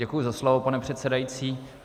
Děkuji za slovo, pane předsedající.